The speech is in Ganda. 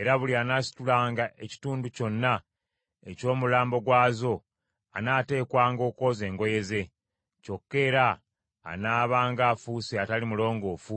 Era buli anaasitulanga ekitundu kyonna eky’omulambo gwazo anaateekwanga okwoza engoye ze, kyokka era anaabanga afuuse atali mulongoofu